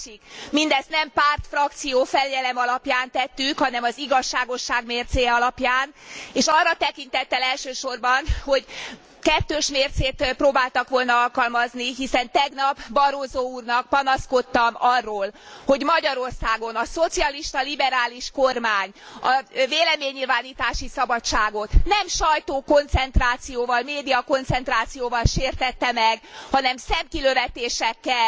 A másik mindezt nem pártfrakció fegyelem alapján tettük, hanem az igazságosság mércéje alapján, és arra tekintettel elsősorban, hogy kettős mércét próbáltak volna alkalmazni, hiszen tegnap Barroso úrnak panaszkodtam arról, hogy Magyarországon a szocialista liberális kormány a véleménynyilvánítási szabadságot nem sajtókoncentrációval, médiakoncentrációval sértette meg, hanem szemkilövetésekkel,